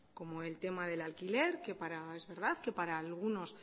como el tema del alquiler que es verdad que para algunos